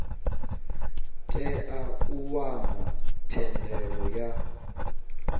tea u wana thendelo ya